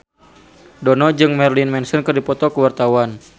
Dono jeung Marilyn Manson keur dipoto ku wartawan